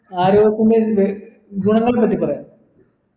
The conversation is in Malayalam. ആരോഗ്യത്തിന്റെ ഇത് ഗുണങ്ങളെ പറ്റി പറയാ